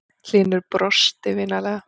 Hlynur brosti vinalega.